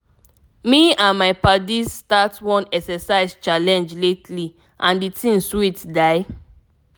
me and my paddies start one exercise challenge lately and the thing sweet die.